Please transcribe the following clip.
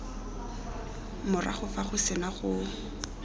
morago fa go sena go